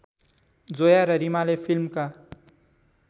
जोया र रिमाले फिल्मका